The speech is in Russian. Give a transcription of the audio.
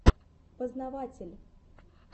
познаватель